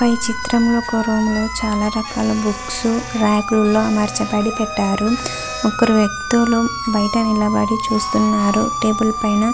పై చిత్రంలో ఒక రూమ్ లో చాలా రకాల బుక్స్ రాక్ ల్లో అమర్చబడి పెట్టారు. ముగ్గురు వ్యక్తులు బయట నిలబడి చూస్తున్నారు టేబల్ పైన --